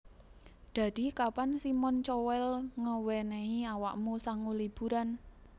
Dadi kapan Simon Cowell ngewenehi awakmu sangu liburan